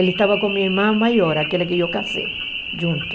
Ele estava com minha irmã maior, aquela que eu casei junto.